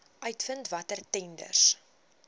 uitvind watter tenders